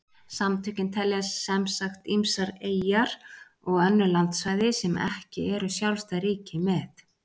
Samtökin telja sem sagt ýmsar eyjar og önnur landsvæði sem ekki eru sjálfstæð ríki með.